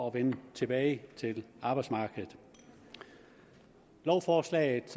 at vende tilbage til arbejdsmarkedet lovforslaget